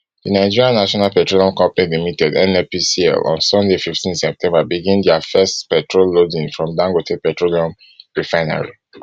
di nigerian national petroleum company limited nnpcl on sunday fifteen september begin dia first petrol loading from dangote petroleum refinery